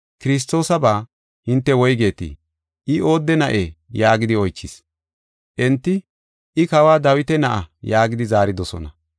“Kiristoosaba hinte woygetii? I oodde na7ee?” yaagidi oychis. Enti, “I Kawa Dawita na7a” yaagidi zaaridosona.